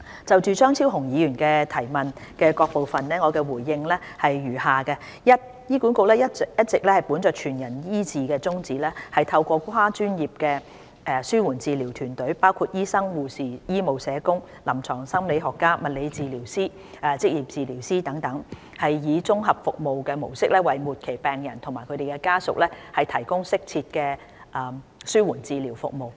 就張超雄議員的質詢的各部分，我答覆如下：一醫管局一直本着"全人醫治"的宗旨，透過跨專業的紓緩治療團隊，包括醫生、護士、醫務社工、臨床心理學家、物理治療師、職業治療師等，以綜合服務模式為末期病人和家屬提供適切的紓緩治療服務。